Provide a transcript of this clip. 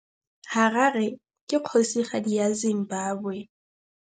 Harare ke kgosigadi ya Zimbabwe.